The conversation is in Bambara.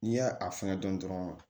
N'i y'a a fɛngɛ dɔn dɔrɔn